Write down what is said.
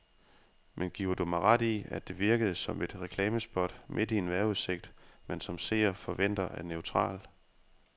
Men giver du mig ret i, at det virkede som et reklamespot midt i en vejrudsigt, man som seer forventer er neutral.